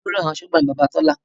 Olórí àwọn asọ́gbà ni Bàbá Tola